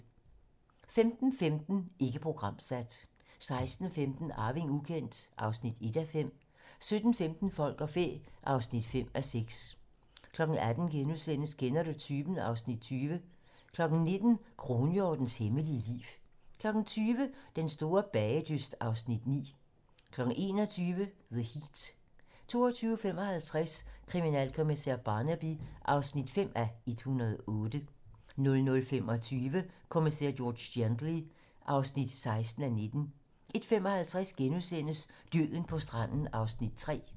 15:15: Ikke programsat 16:15: Arving ukendt (1:5) 17:15: Folk og fæ (5:6) 18:00: Kender du typen? (Afs. 20)* 19:00: Kronhjortens hemmelige liv 20:00: Den store bagedyst (Afs. 9) 21:00: The Heat 22:55: Kriminalkommisær Barnaby (5:108) 00:25: Kommissær George Gently (16:19) 01:55: Døden på stranden (3:4)*